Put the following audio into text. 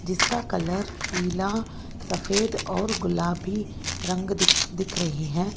जिसका कलर पीला सफेद और गुलाबी रंग दिख दिख रहे हैं।